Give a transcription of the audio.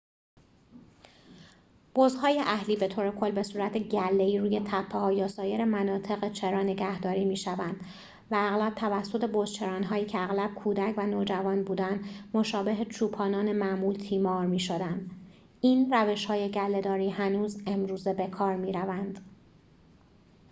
بزهای اهلی بطور کل بصورت گله‌ای روی تپه‌ها یا سایر مناطق چرا نگهداری می‌شدند و اغلب توسط بزچران‌هایی که اغلب کودک و نوجوان بودند مشابه چوپانان معمول تیمار می‌شدند این روش‌های گله‌داری هنوز امروزه بکار می‌روند